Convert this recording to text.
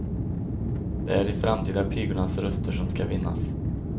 Det är de framtida pigornas röster som ska vinnas.